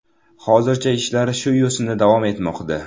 Hozircha ishlar shu yo‘sinda davom etmoqda”.